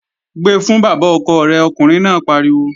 Gbe fún bàbá ọkọ rẹ̀, ọkùnrin náà pariwo!